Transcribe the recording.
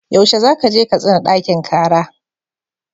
Yaushe za ka je Katsina ɗakin kara?